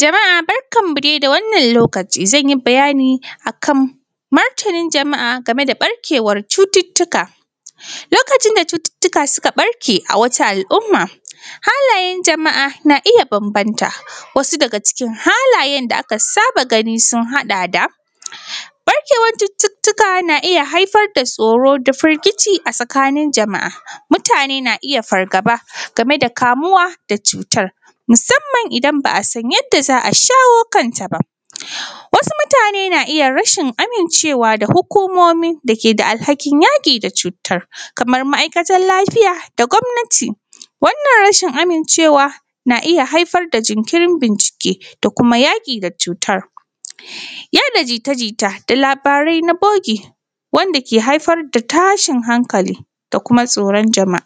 Jama’a barkanmu dai da wannan lokaci. Zan yi bayani a kan martanin jama’a game da ɓarkewar cututtuka. Lokacin da cututtuka suka ɓarke a wata al’umma, halayen jama’a na iya bambanta, wasu daga cikin halayen da aka saba gani sun haɗa da: ɓarkewar cututtuka na iya haiffar da tsoro da firgici a tsakanin jama’a. Mutane na iya fargaba game da kamuwa da cutar, musamman idan ba a san yadda za a shawo kanta ba. Wasu mutane na iya rashin amincewa da hukumomi da ke da alhakin yaƙi da cutar, kamar ma’aikatar lafiya da gwamnati. Wannan rashin amincewa na iaya haifar da jinkirin bincike da kuma yaƙi da cutar. yaɗa jita jita dalabarai na bogi wanda ke haifar da tashin hankali da kuma tsoron jama’a,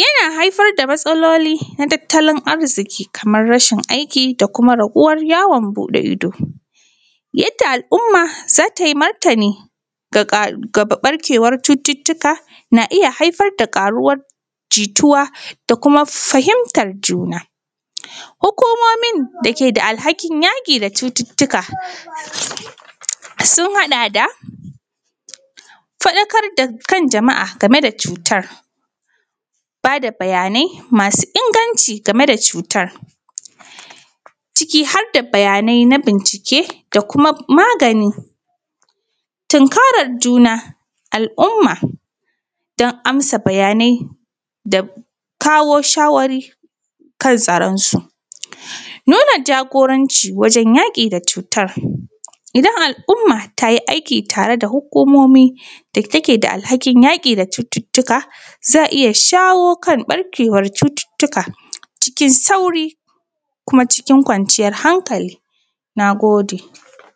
yana haifar da matsaloloi na tattalin arziki kamar rashin aiki da kuma raguwar yawon buɗe ido. Yadda al’umma za ta yi martani ga ɓarkewar cututtuka na iya haifar da ƙaruwar jituwa da kuma fahimtar juna. Hukumomin da ke da alhakin yaƙi da cututtuka sun haɗa da faɗakar da kan jama’a game da cutar, ba da bayanai masu inganci game da cutar, ciki har da bayanai na bincike da kuma magani. Tunkarar juna, al’umma don amsa bayanai da kawo shawari kan tsaronsu. Nuna jagoranci wajen yaƙi da cutar. Idan al’umma ta yi aiki tare da hukumomi da take da alhakin yaƙi da cututtuka, za a iya shawo kan ɓarkewar cututtuka cikin sauri kuma cikin kwanciyar hankali. Na gode